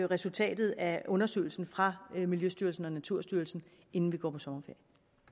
resultatet af undersøgelsen fra miljøstyrelsen og naturstyrelsen inden vi går på sommerferie